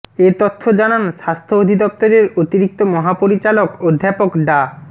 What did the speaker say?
এ তথ্য জানান স্বাস্থ্য অধিদপ্তরের অতিরিক্ত মহাপরিচালক অধ্যাপক ডা